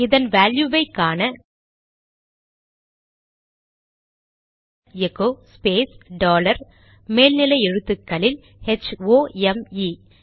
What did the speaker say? இதன் வேல்யுவை காண எகோ ஸ்பேஸ் டாலர் மேல் நிலை எழுத்துக்களில் ஹெச்ஓஎம்இ ஹோம்